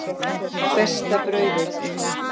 Besta brauðið